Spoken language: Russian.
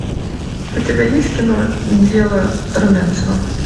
у тебя есть кино дело румянцева